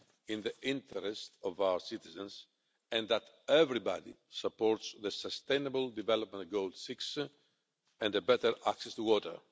in the interests of our citizens and that everybody supports the Sustainable Development Goal 6 and better access to water.